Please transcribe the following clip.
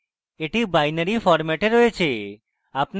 এটি binary ফরম্যাটে রয়েছে